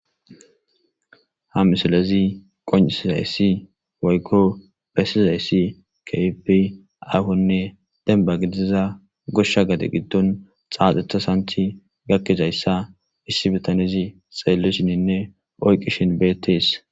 Ha misilezi qonccissizayssi woykko bessizayssi keehippe aahonne dembba gidiza goshsha gade gidon xaaxeta sanththi gizayssa issi bitanezi xeelishininne oyqqishin beetees.